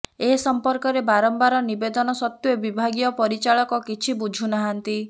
ଏ ସମ୍ପର୍କରେ ବାରମ୍ବାର ନିବେଦନ ସତ୍ୱେ ବିଭାଗୀୟ ପରିଚାଳକ କିଛି ବୁଝୁନାହାନ୍ତି